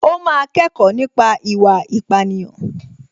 Ó máa kẹ́kọ̀ọ́ nípa ìwà ìpánìyàn